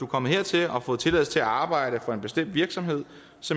kommet hertil og har fået tilladelse til at arbejde for en bestemt virksomhed